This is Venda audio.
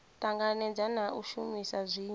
tanganedza na u shumisa zwifhiwa